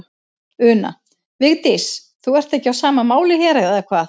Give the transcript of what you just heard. Una: Vigdís, þú ert ekki á sama máli hér, eða hvað?